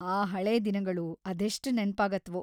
ಆ ಹಳೇ ದಿನಗಳು ಅದೆಷ್ಟ್‌ ನೆನ್ಪಾಗತ್ವೋ.